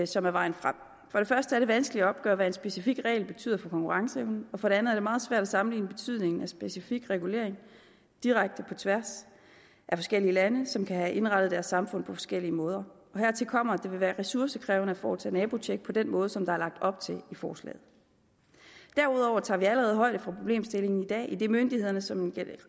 som er vejen frem for det første er det vanskeligt at opgøre hvad en specifik regel betyder for konkurrenceevnen og for det andet er det meget svært at sammenligne betydningen af specifik regulering direkte på tværs af forskellige lande som kan have indrettet deres samfund på forskellige måder hertil kommer at det vil være ressourcekrævende at foretage nabotjek på den måde som der er lagt op til i forslaget derudover tager vi allerede højde for problemstillingen i dag idet myndighederne som